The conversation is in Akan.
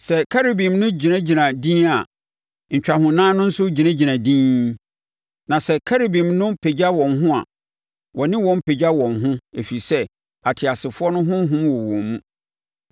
Sɛ Kerubim no gyinagyina dinn a, ntwahonan no nso gyinagyina dinn, na sɛ Kerubim no pagya wɔn ho a, wɔne wɔn pagya wɔn ho, ɛfiri sɛ, ateasefoɔ no honhom wɔ wɔn mu.